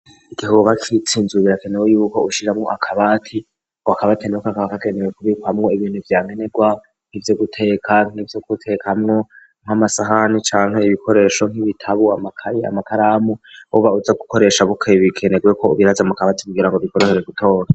Igikuba citsinzuwe ibirakenewe yuko ushiramwo akabati ngo akabatenewka ka kagenewe kubikwamwo ibintu vyankenerwa n'ivyo guteka nivyo guteka hamwo nko amasahani canke ibikoresho nk'ibitabu amakayi amataramu buba uza gukoresha bukebikenerweko ubiraza mu kabati kugira ngo bikoreshoje gutora.